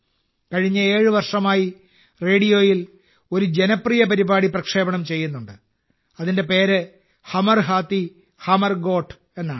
കഴിഞ്ഞ 7 വർഷമായി റേഡിയോയിൽ ഒരു ജനപ്രിയ പ്രോഗ്രാം പ്രക്ഷേപണം ചെയ്യുന്നുണ്ട് അതിന്റെ പേര് ഹമർ ഹാത്തി ഹമർ ഗോഠ് എന്നാണ്